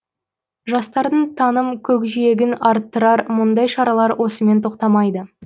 жастардың таным көкжиегін арттырар мұндай шаралар осымен тоқтамайды